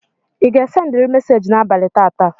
Ị ga-sendịrị meseji n'abalị tata?